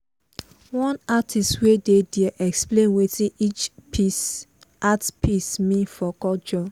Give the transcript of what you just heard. one artist wey dey there explain wetin each art piece mean for culture.